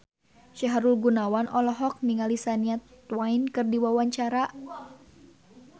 Sahrul Gunawan olohok ningali Shania Twain keur diwawancara